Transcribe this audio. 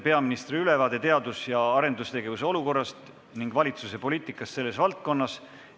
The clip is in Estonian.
Peaministri ülevaade teadus- ja arendustegevuse olukorrast ning valitsuse poliitikast selles valdkonnas.